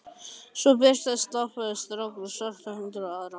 Svo birtast stálpaður strákur og svartur hundur úr annarri átt.